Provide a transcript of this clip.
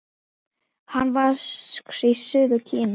Hann vex í suður Kína.